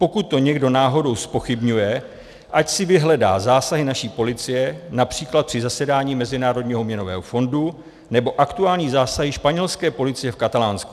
Pokud to někdo náhodou zpochybňuje, ať si vyhledá zásahy naší policie například při zasedání Mezinárodního měnového fondu nebo aktuální zásahy španělské policie v Katalánsku.